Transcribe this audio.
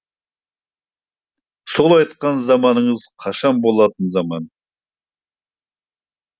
сол айтқан заманыңыз қашан болатын заман